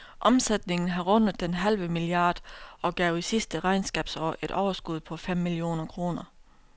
Omsætningen har rundet den halve milliard og gav i sidste regnskabsår et overskud på fem millioner kroner.